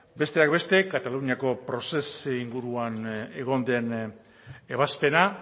besteak beste kataluniako procés inguruan egon den ebazpena